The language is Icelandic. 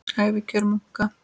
Ævikjör munka